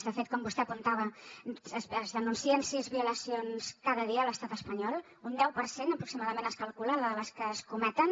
de fet com vostè apuntava es denuncien sis violacions cada dia a l’estat espanyol un deu per cent aproximadament es calcula de les que es cometen